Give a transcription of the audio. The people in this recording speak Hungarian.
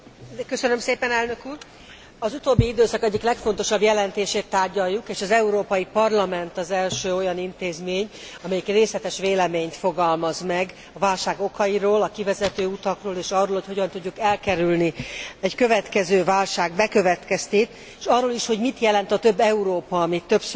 Az utóbbi időszak egyik legfontosabb jelentését tárgyaljuk, és az Európai Parlament az első olyan intézmény, amely részletes véleményt fogalmaz meg a válság okairól, a kivezető utakról és arról, hogy hogyan tudjuk elkerülni egy következő válság bekövetkeztét, és arról is, hogy mit jelent a több Európa, amit többször említünk az utóbbi időben.